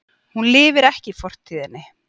Hún lifir ekki í fortíðinni.